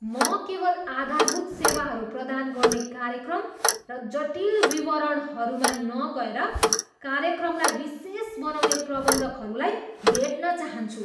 म केवल आधारभूत सेवाहरू प्रदान गर्ने कार्यक्रम र जटिल विवरणहरूमा नगएर कार्यक्रमलाई विशेष बनाउँने प्रबन्धकहरूलाई भेट्न चााहन्छु।